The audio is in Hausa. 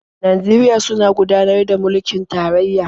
Najeriya suna gudanar da mulkin tarayya.